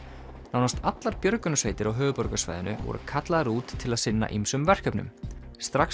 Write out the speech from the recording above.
nánast allar björgunarsveitir á höfuðborgarsvæðinu voru kallaðar út til að sinna ýmsum verkefnum strax